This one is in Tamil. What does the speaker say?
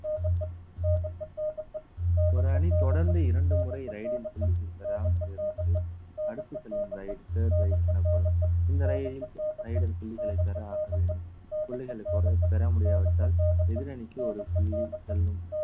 ஒரு அணி தொடர்ந்து இரண்டு முறை ride ல் புள்ளிகள் பெறாமல் இருந்து அடுத்து செல்லும் ride third ride எனப்படும் இந்த raider புள்ளிகளை பெற ஆக வேண்டும் புள்ளிகளை பொற~ பெற முடியாவிட்டால் எதிரணிக்கு ஒரு புள்ளி செல்லும்